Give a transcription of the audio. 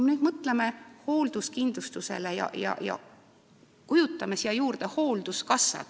Mõtleme nüüd hoolduskindlustusele ja kujutame ette hoolduskassat.